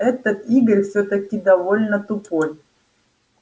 этот игорь всё-таки довольно тупой